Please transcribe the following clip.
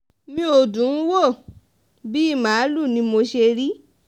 mi ò dùn ún wò bíi màálùú ni mo ṣe rí